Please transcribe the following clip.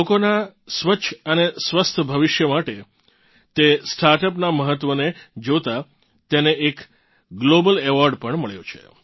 લોકોનાં સ્વસ્છ અને સ્વસ્થ ભવિષ્ય માટે તે સ્ટાર્ટ અપનાં મહત્વને જોતાં તેને એક ગ્લોબલ એવોર્ડ પણ મળ્યો છે